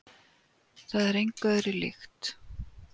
Það er engu öðru líkt.